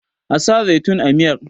a sa zaitun a miyar!